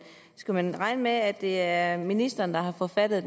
skal man regne med at det er ministeren der er forfatter